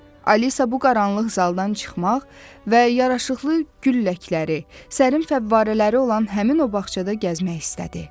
Alisa bu qaranlıq zaldan çıxmaq və yaraşıqlı gülləkləri, sərin fəvvarələri olan həmin o bağçada gəzmək istədi.